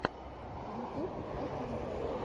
ютюб афинка